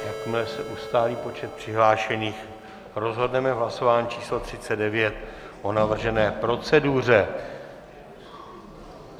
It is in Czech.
Jakmile se ustálí počet přihlášených, rozhodneme v hlasování číslo 39 o navržené proceduře.